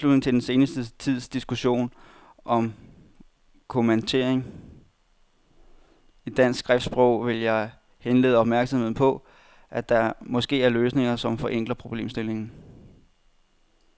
I tilslutning til den senere tids diskussion om kommatering i dansk skriftsprog vil jeg henlede opmærksomheden på, at der måske er løsninger, som forenkler problemstillingen.